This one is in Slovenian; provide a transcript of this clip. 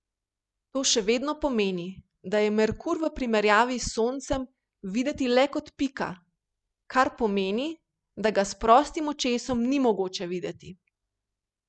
To še vedno pomeni, da je Merkur v primerjavi s Soncem videti le kot pika, kar pomeni, da ga s prostim očesom ni mogoče videti.